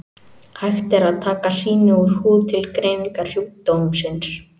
Hægt er að taka sýni úr húð til greiningar sjúkdómsins.